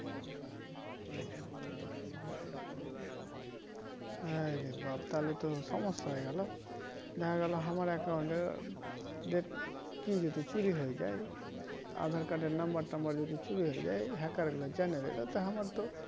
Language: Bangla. হাই রে বাপ তাহলে তো সমস্যা হয়ে গেল দেখা গেলো আমার account এ ডেট কি যদি চুরি হয়ে যাই aadhar card এর number টুম্বার যদি চুরি হয়ে যাই hacker গুলা জেনে নেয় হামার তো